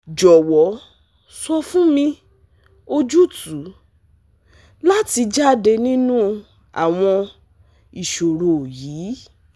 Jọwọ sọ fun mi ojutu lati jade ninu awọn iṣoro yii